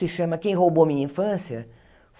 Se chama Quem Roubou Minha Infância.